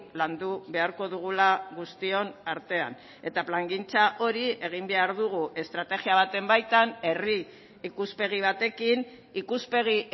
landu beharko dugula guztion artean eta plangintza hori egin behar dugu estrategia baten baitan herri ikuspegi batekin ikuspegi